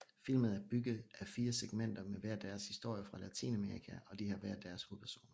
Filmen er bygget af 4 segmenter med hver deres historer fra latinamerika og de har hver deres hovedpersoner